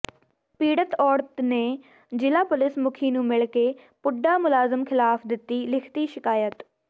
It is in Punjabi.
ਪੀੜਤ ਔਰਤ ਨੇ ਜ਼ਿਲ੍ਹਾ ਪੁਲੀਸ ਮੁਖੀ ਨੂੰ ਮਿਲ ਕੇ ਪੁੱਡਾ ਮੁਲਾਜ਼ਮ ਖ਼ਿਲਾਫ਼ ਦਿੱਤੀ ਲਿਖਤੀ ਸ਼ਿਕਾਇਤ